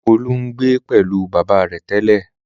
Olú ń gbé pẹ̀lú bàbá rẹ̀ tẹ́lẹ̀?